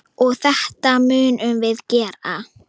Og þetta munum við gera.